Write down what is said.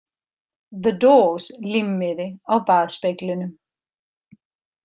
The Doors límmiði á baðspeglinum.